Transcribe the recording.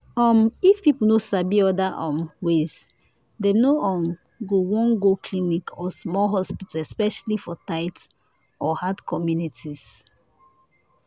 um if people no sabi other um ways dem no um go wan go clinic or small hospital especially for tight or hard communities.